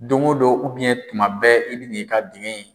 Dongo don tuma bɛɛ i bi n'i ka dingɛn in.